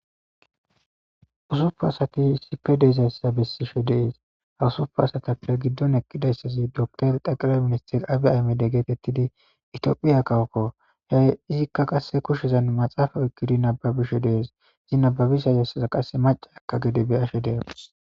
Usufu asati sipe deezayssa bessishe dees hawusufu asatappe giddon ekkidayssazi dotor daqire ministir abi ayme de geetettidi itiophiya kawokko he izikka qasse kushshezan maxaafa oykkidi nababishe dees izi nababisha yassaza qasse mace akka gede bey ashe deemas